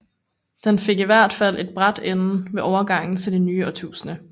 Den fik i hvert fald en brat ende ved overgangen til det nye årtusinde